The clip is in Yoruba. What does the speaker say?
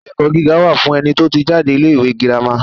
Ilé-ẹ̀kọ́ gíga wà fún ẹni tó ti jáde ilé-ìwé girama.